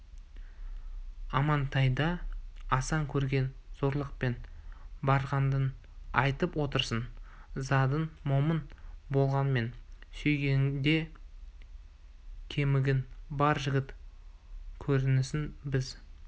амантайды асан көрген зорлықпен барғаныңды айтып отырсың задың момын болғанмен сүйегіңде кемігің бар жігіт көрінесің біз